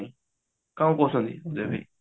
କଣ କହୁଛନ୍ତି ଅଜୟ ଭାଇ